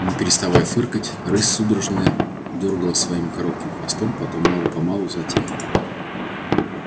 не переставая фыркать рысь судорожно дёргала своим коротким хвостом потом мало помалу затихла